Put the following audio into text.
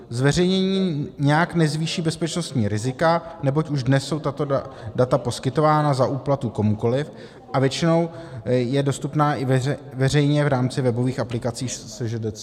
Zveřejnění nijak nezvýší bezpečnostní rizika, neboť už dnes jsou tato data poskytována za úplatu komukoliv, a většinou jsou dostupná i veřejně v rámci webových aplikací SŽDC.